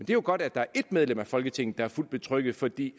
jo godt at der er ét medlem af folketinget der er fuldt betrygget fordi